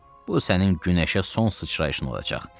Bu sənin günəşə son sıçrayışın olacaq.